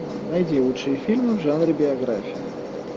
найди лучшие фильмы в жанре биография